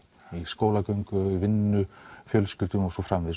í skólagöngu vinnu fjölskyldu og svo framvegis